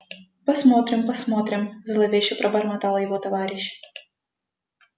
посмотрим посмотрим зловеще пробормотал его товарищ